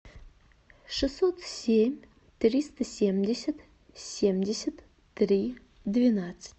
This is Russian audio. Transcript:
шестьсот семь триста семьдесят семьдесят три двенадцать